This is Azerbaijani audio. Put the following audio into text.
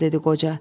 dedi qoca.